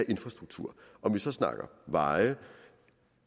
infrastruktur om vi så snakker veje